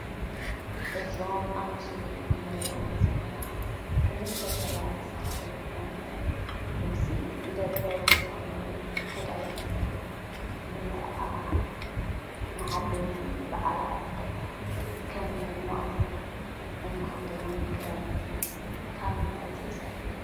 እዞም ኣብ ምስሊ እንሪኦም ዘለና ክልተ ሰባት ዝተከደንዎ ውፅኢት ኢደ ጥበብ ዝኮኑ ክዳውንቲ ንመርዓ ንዓበይቲ በዓላት ከም መድመቅቲ እንክደኖም ክዳውንቲ ካብ ምንታይ ዝተሰርሑ እዮም?